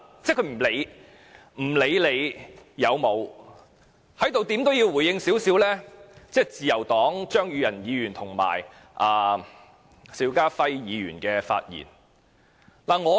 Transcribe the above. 在此，我要就自由黨的張宇人議員及邵家輝議員的發言稍作回應。